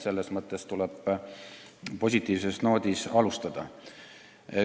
Selles mõttes tuleb alustada positiivsel noodil.